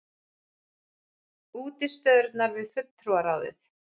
Útistöðurnar við Fulltrúaráðið!